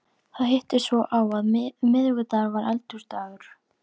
Það hittist svo á að miðvikudagur var Eldhúsdagur.